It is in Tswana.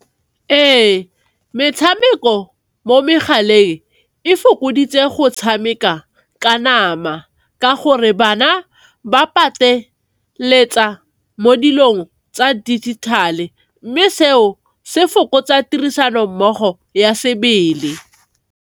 Ee, metshameko mo megaleng e fokoditse go tshameka ka nama ka gore bana ba pateletsa mo dilong tsa dijithale, mme seo se fokotsa tirisano mmogo ya sebele.